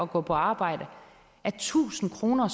gå på arbejde er tusind kroner